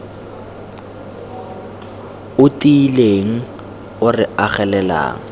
o tiileng o re agelelang